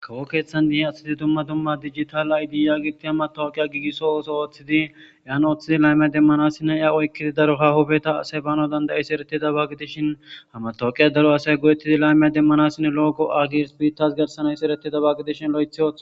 kawo keeththan de7iyae astidi tumma dumma digital aydi yagiti hammatowoqiya giigisso ooso ooththidi yaan ooththidi laymiya demmanassinne ya oykkidi daro ha hobeta aseybaano dandayis ereti daba gidishinhamatooqiya daro asay go7ettidi laymiya demmanassine looqo agirs bittas garsanays ereti daba gidishin lo7etho